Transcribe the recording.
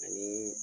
Ani